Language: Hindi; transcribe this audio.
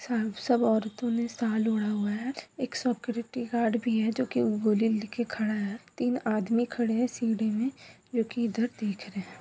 स सब औरतो ने शाल ओढ़ा हुआ है सक्यूरिटी गार्ड भी है जो कि गोली लेके खड़ा है तीन आदमी खड़े हैं सीढ़ी मे जो कि इधर देख रहे हैं।